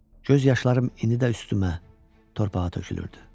Göz yaşlarım indi də üstümə, torpağa tökülürdü.